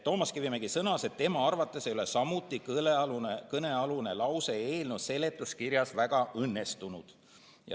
Toomas Kivimägi sõnas, et tema arvates ei ole kõnealune lause eelnõu seletuskirjas samuti väga õnnestunud.